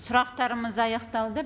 сұрақтарымыз аяқталды